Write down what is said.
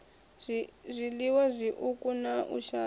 zwiliwa zwiuku na u shaya